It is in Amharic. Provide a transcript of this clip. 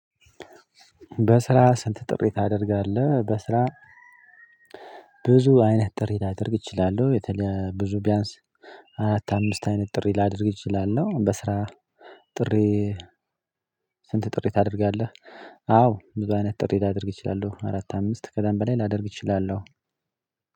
በስራ ስንት ጥሪ ታደርጋለህ? በስራ ብዙ አይነት ጥሪ ላድርግ እችላለሁ የተለየ ብዙ ቢያንስ አራት አምስት አይነት ጥሪ ላድርግ እችላለሁ በስራ ጥሪ ስንት ጥሪ ታደርጋለህ? አዎ ብዙ አይነት ጥሪ ላደርግ እችላለሁ አራት አምስት ከዛን በላይ ላደርግ እችላለሁ።